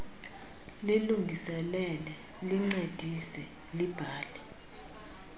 lilungiselele lincedise libhale